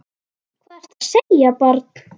Hvað ertu að segja, barn?